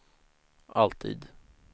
alltid